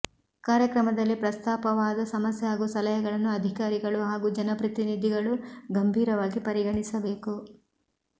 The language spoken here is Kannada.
ಕಾರ್ಯಕ್ರಮದಲ್ಲಿ ಪ್ರಸ್ತಾಪವಾದ ಸಮಸ್ಯೆ ಹಾಗೂ ಸಲಹೆಗಳನ್ನು ಅಧಿಕಾರಿಗಳು ಹಾಗೂ ಜನಪ್ರತಿನಿಧಿಗಳು ಗಂಭೀರವಾಗಿ ಪರಿಗಣಿಸಬೇಕು